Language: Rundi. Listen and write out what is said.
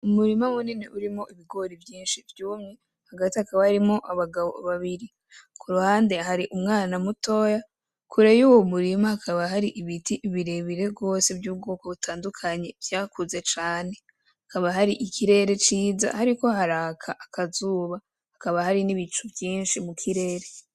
Umurima munini urimwo ibigori vyinshi vyumye, hagati hakaba harimwo abagabo babiri. Ku ruhande hari umwana mutoya, kure y'uwo murima hakaba hari ibiti bire bire gose vy'ubwoko butandukanye vyakuze cane. hAkaba hari ikirere ciza hariko haraka akazuba, hakaba hari n'ibicu vyinshi mu kirere.